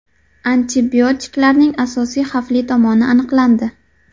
Antibiotiklarning asosiy xavfli tomoni aniqlandi.